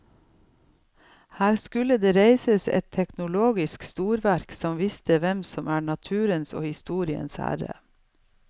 Her skulle det reises et teknologisk storverk som viste hvem som er naturens og historiens herre.